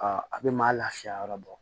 a bɛ maa lafiya yɔrɔ bɔ